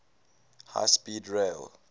high speed rail